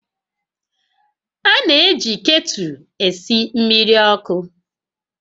A na-eji ktụlụ esi mmiri ọkụ